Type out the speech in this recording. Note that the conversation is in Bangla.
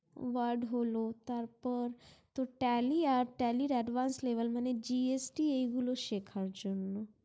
word হলো তার পর তো tally আর tally advance level মানে gst এগুলো শেখর জন্য